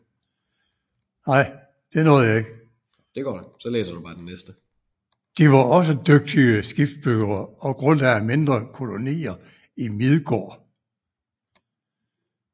De var også dygtige skibsbyggere og grundlagde mindre kolonier i Midgård